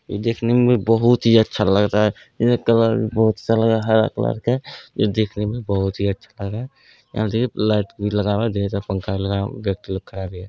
इ देखने में भी बहुत ही अच्छा लग रहा है ये कलर भी बहुत सा लग रहा हरा कलर के जो देखने में बहुत ही अच्छा लग रहा है यहाँ देखिये लाइट लगा हुआ ढ़ेर पंखा भी लगा है व्यक्ति उधर खड़ा भी है।